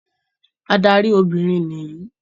Adarí Obìnrin níyì.